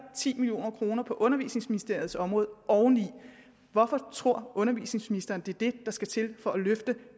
ti million kroner på undervisningsministeriets område oveni hvorfor tror undervisningsministeren at det er det der skal til for at løfte